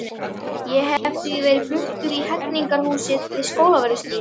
Ég hef því verið fluttur í Hegningarhúsið við Skólavörðustíg.